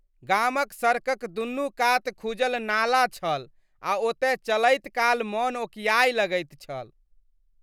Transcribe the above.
गामक सड़कक दुनू कात खुजल नाला छल आ ओतय चलैत काल मन ओकिआए लगैत छल।